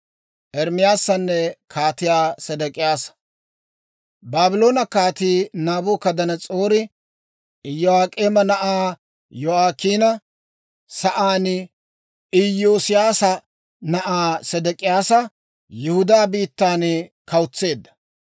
Baabloone Kaatii Naabukadanas'oori Iyo'ak'eema na'aa Yo'aakiina sa'aan Iyoosiyaasa na'aa Sedek'iyaasa Yihudaa biittan kawutseedda.